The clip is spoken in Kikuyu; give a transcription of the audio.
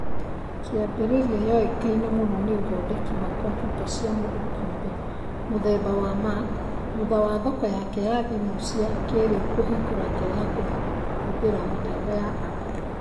kĩambĩrĩra yoĩkaine mũno nĩ ũthondeki wwa computa cia mũndũ kiũmbe mũthemba wa Mac thutha wa thoko yake ya thimu cia kĩrĩu kũhingũra njira ya kũhũthira mitambo ya apu